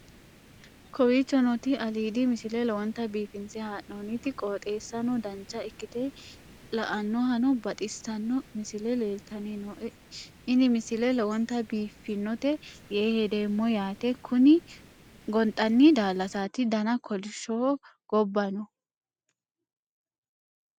kowicho nooti aliidi misile lowonta biifinse haa'noonniti qooxeessano dancha ikkite la'annohano baxissanno misile leeltanni nooe ini misile lowonta biifffinnote yee hedeemmo yaate kuni gonxanni daallasaati dana kolishshoho gobba no